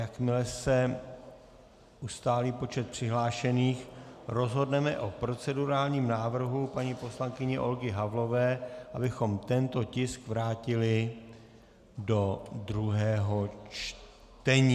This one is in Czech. Jakmile se ustálí počet přihlášených, rozhodneme o procedurálním návrhu paní poslankyně Olgy Havlové, abychom tento tisk vrátili do druhého čtení.